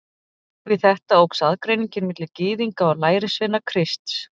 Við þetta óx aðgreiningin milli Gyðinga og lærisveina Krists.